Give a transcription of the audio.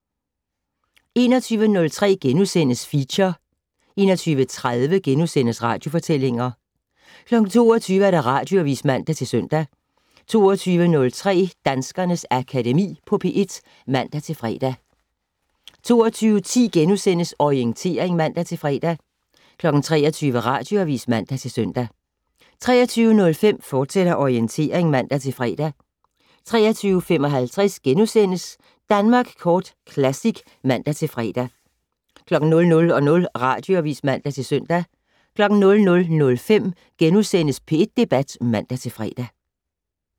21:03: Feature * 21:30: Radiofortællinger * 22:00: Radioavis (man-søn) 22:03: Danskernes Akademi på P1 (man-fre) 22:10: Orientering *(man-fre) 23:00: Radioavis (man-søn) 23:05: Orientering, fortsat (man-fre) 23:55: Danmark Kort Classic *(man-fre) 00:00: Radioavis (man-søn) 00:05: P1 Debat *(man-fre)